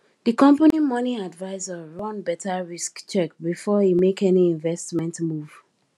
di company money advisor run better risk check before e make any investment move